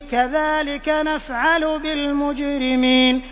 كَذَٰلِكَ نَفْعَلُ بِالْمُجْرِمِينَ